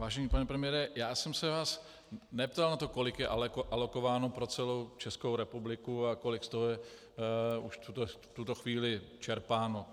Vážený pane premiére, já jsem se vás neptal na to, kolik je alokováno pro celou Českou republiku a kolik z toho je už v tuto chvíli čerpáno.